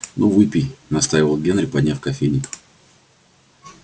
ну выпей настаивал генри подняв кофейник